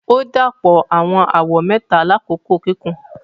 O dapọ awọn awọ mẹta lakoko kikun.